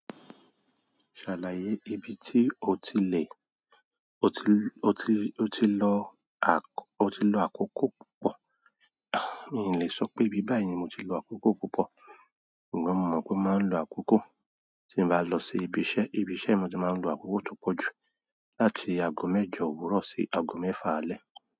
Ṣàlàyé ibi tí o ti lè, o ti, o ti, o ti lọ àkọ, o ti lo àkókò púpọ̀. A, mi ò lè sọ pé bí báyìí ni mo ti lọ àkókò púpọ̀, ṣùgbọ́n mo mọ̀ pé mo máa ń lọ àkókò tí mo bá lọ sí ibi iṣẹ́. Ibi iṣẹ́ mo ti máa ń lọ àkókò tó pọ̀ jù, láti ago mẹ́jọ òwúrọ̀ sí ago mẹ́fa àlẹ́.